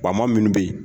Bama minnu bɛ yen